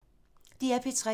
DR P3